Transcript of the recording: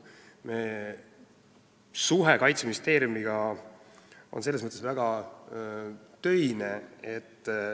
Meie suhe Kaitseministeeriumiga on selles mõttes väga töine.